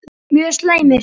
Mjög slæmir